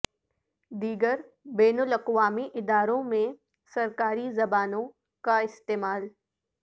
دیگر بین الاقوامی اداروں میں سرکاری زبانوں کا استعمال